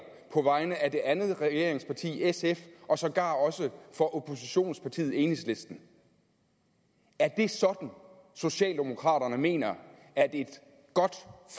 på vegne af det andet regeringsparti sf og sågar også for oppositionspartiet enhedslisten er det sådan socialdemokraterne mener at et godt